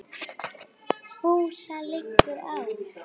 FÚSA LIGGUR Á